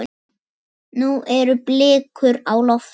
Nú eru blikur á lofti.